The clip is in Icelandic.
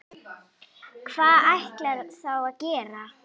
Hvað ætlarðu þá að gera?